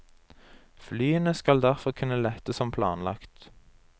Flyene skal derfor kunne lette som planlagt.